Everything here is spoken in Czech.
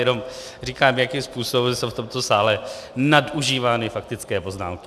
Jenom říkám, jakým způsobem jsou v tomto sále nadužívány faktické poznámky.